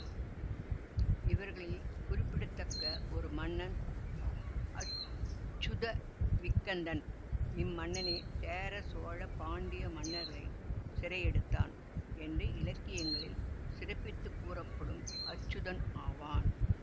இவர்களில் குறிப்பிடத்தக்க ஒரு மன்னன் அச்சுதவிக்கந்தன் இம்மன்னனே சேர சோழ பாண்டிய மன்னர்களைச் சிறையெடுத்தான் என்று இலக்கியங்களில் சிறப்பித்துக் கூறப்படும் அச்சுதன் ஆவான்